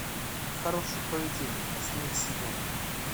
хорошее поведение последний сезон